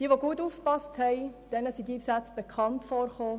Wer gut aufgepasst hat, dem sind diese Sätze bekannt vorgekommen.